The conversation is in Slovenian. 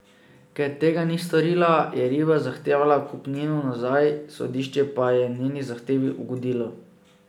Ker tega ni storila, je Riba zahtevala kupnino nazaj, sodišče pa je njeni zahtevi ugodilo.